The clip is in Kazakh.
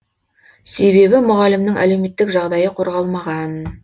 себебі мұғалімнің әлеуметтік жағдайы қорғалмаған